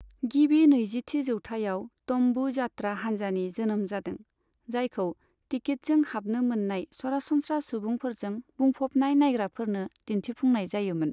गिबि नैजिथि जौथायाव 'तम्बु' जात्रा हान्जानि जोनोम जादों, जायखौ टिकितजों हाबनो मोननाय सरासनस्रा सुबुंफोरजों बुंफबनाय नायग्राफोरनो दिन्थिफुंनाय जायोमोन।